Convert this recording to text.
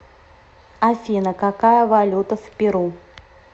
афина какая валюта в перу